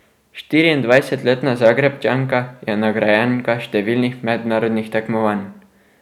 Štiriindvajsetletna Zagrebčanka je nagrajenka številnih mednarodnih tekmovanj.